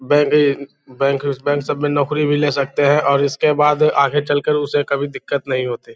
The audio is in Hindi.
बैंक सब में नौकरी भी ले सकते हैं ओर इसके बाद आगे चल कर उसे कभी दिक्कत नहीं होती |